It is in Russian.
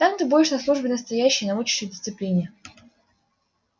там ты будешь на службе настоящей научишься дисциплине